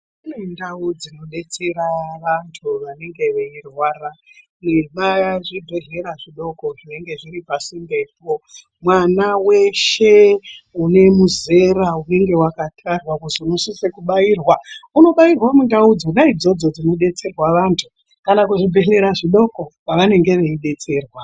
Kune ndau dzinodetsera vantu vanenge vachirwara yepazvibhehlera zvidoko zvinenge zviri pasindepo. Mwana weshe une muzera unenge wakatarwa unosisa kubairwa unobairwa ndau idzodzo dzinodetserwa vantu kana zvibhehleya zvidoko kwavanenge vachidetserwa.